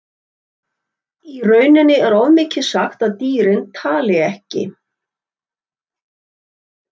Í rauninni er of mikið sagt að dýrin tali ekki.